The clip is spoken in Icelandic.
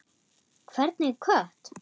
Hvernig kött?